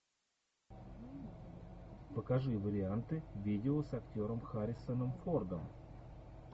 покажи варианты видео с актером харрисоном фордом